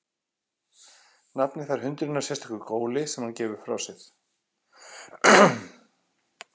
Nafnið fær hundurinn af sérstöku góli sem hann gefur frá sér.